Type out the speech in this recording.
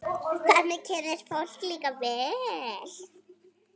Þannig kynnist fólk líka vel.